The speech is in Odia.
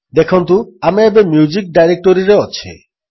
ଦେଖନ୍ତୁ ଆମେ ଏବେ ମ୍ୟୁଜିକ୍ ଡାଇରେକ୍ଟୋରୀରେ ଅଛେ